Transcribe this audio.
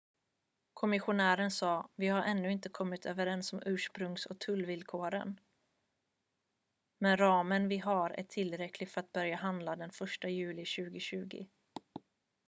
"kommissionären sa: "vi har ännu inte kommit överens om ursprungs- och tullvillkoren men ramen vi har är tillräcklig för att börja handla den 1 juli 2020"".